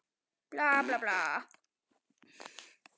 Líf Ívars var eftirvænting eftir vinnu.